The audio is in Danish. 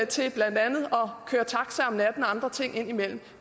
til blandt andet at køre taxa om natten og andre ting indimellem